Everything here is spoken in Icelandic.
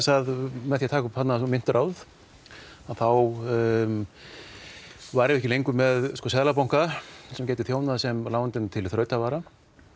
að með því að taka upp mynturáð þá værum við ekki lengur með Seðlabanka sem gæti þjónað sem lánveitandi til þrautavara